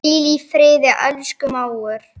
Hvíl í friði, elsku mágur.